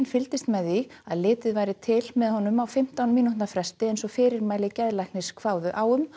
fylgdist með því að litið væri til með honum á fimmtán mínútna fresti eins og fyrirmæli geðlæknis kváðu á um